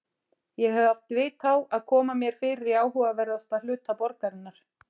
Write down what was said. Ég hef haft vit á að koma mér fyrir í áhugaverðasta hluta borgarinnar